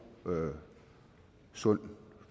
og sund